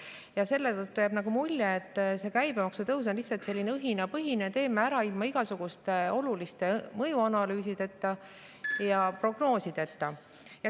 Ja selle tõttu jääb nagu mulje, et see käibemaksu tõus on lihtsalt selline õhinapõhine – teeme ära ilma igasuguste oluliste mõjuanalüüsideta ja prognoosideta.